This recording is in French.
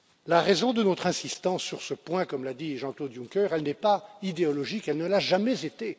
La raison de notre insistance sur ce point, comme l'a dit Jean Claude Juncker, elle n'est pas idéologique, elle ne l'a jamais été.